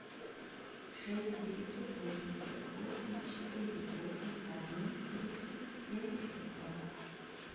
шесть девятьсот восемьдесят восемь четыре восемь один тридцать семьдесят два